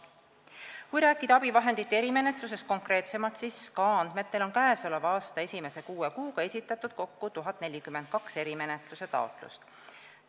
" Kui rääkida abivahendite erimenetlusest konkreetsemalt, siis SKA andmetel on käesoleva aasta esimese kuue kuuga esitatud kokku 1042 erimenetluse taotlust.